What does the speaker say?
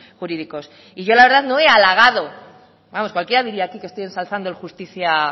jurídicos y yo la verdad no he alagado vamos cualquiera diría aquí que estoy ensalzando el justizia